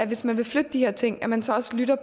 hvis man vil flytte de her ting at man så også lytter